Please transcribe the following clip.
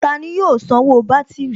Tani yóò sanwó bátìrì?